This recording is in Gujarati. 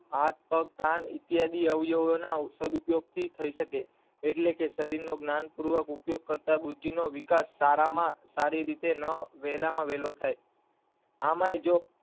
હાથ, પગ, કાન ઇતિયાદી અવયવો ના સદ્ ઉપયોગ થી થઇ શકે, એટલે કે શરીર નું જ્ઞાનપૂર્વક ઉપયોગ કરતા બુદ્ધિ નો વિકાસ સારા માં સારી રીતે ના વેલા માં વેલો થાય આમાંય જો